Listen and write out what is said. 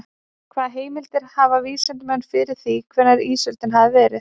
Hvaða heimildir hafa vísindamenn fyrir því hvenær ísöldin hafi verið?